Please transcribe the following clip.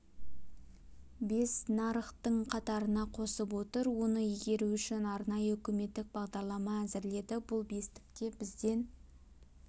бес нарықтың қатарына қосып отыр оны игеру үшін арнайы үкіметтік бағдарлама әзірледі бұл бестікте бізден